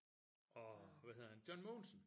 Åh hvad hedder han? John Mogensen!